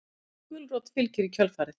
Gedda gulrót fylgir í kjölfarið.